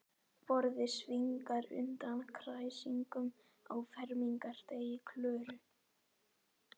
Borðið svignar undan kræsingunum á fermingardegi Klöru.